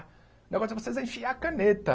O negócio é vocês enfiar a caneta.